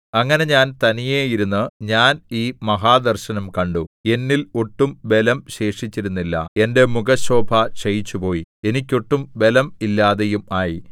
അങ്ങനെ ഞാൻ തനിയെ ഇരുന്ന് ഞാൻ ഈ മഹാദർശനം കണ്ടു എന്നിൽ ഒട്ടും ബലം ശേഷിച്ചിരുന്നില്ല എന്റെ മുഖശോഭ ക്ഷയിച്ചുപോയി എനിക്ക് ഒട്ടും ബലം ഇല്ലാതെയും ആയി